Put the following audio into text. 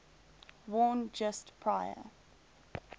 worn just prior